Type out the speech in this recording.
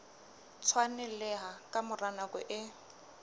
tshwaneleha ka mora nako e